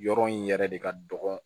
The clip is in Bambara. Yɔrɔ in yɛrɛ de ka dɔgɔ